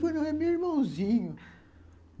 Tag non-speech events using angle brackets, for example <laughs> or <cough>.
Eu falei, não, é meu irmãozinho <laughs>